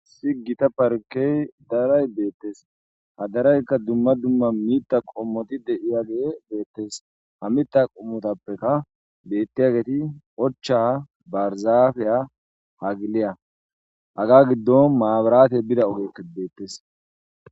Issi gita parkey daray beetes ha darayka dumma dumma mitha qommoti de'iyagey beetes ha mitha qommotapeka beetiyageti ochcha,barzafiya,hagiliya haga gidon mabratey bida ogeyka beetes.